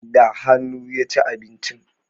Da hanu ya ci abinci